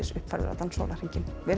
uppfærður allan sólarhringinn verið